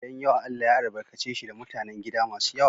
Gidan yawa Allah ya albarkace shi da mutanen gida masu yawa.